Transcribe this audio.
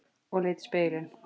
Og leit í spegilinn.